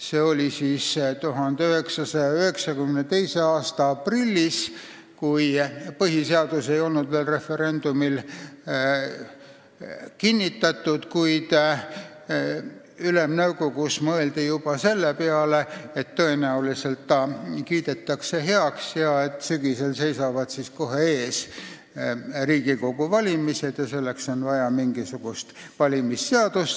See oli 1992. aasta aprillis, kui põhiseadus ei olnud veel referendumil kinnitatud, kuid Ülemnõukogus mõeldi juba selle peale, et tõenäoliselt see kiidetakse heaks ja sügisel seisavad siis kohe ees Riigikogu valimised ning selleks on vaja mingisugust valimisseadust.